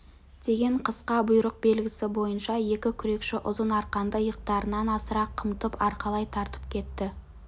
деген қысқа бұйрық белгісі бойынша екі күрекші ұзын арқанды иықтарынан асыра қымтып арқалай тартып кетті